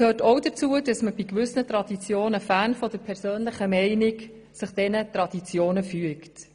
Dazu gehört auch ebenfalls, dass man sich gewissen Traditionen fern der persönlichen Meinung fügt.